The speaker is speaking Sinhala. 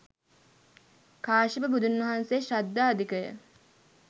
කාශ්‍යප බුදුන් වහන්සේ ශ්‍රද්ධා අධික ය.